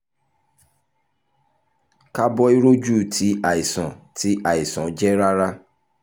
kaaboiroju ti aisan ti aisan ti aisan ti ti aisan ti aisan jẹ rara